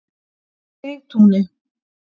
Sigtúni